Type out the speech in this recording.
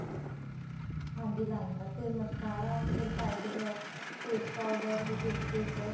ਹਾਂਜੀ liner ਫ਼ੇਰ mascara ਫ਼ੇਰ side blog face powder lipstick